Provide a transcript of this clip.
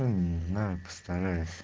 не знаю постараюсь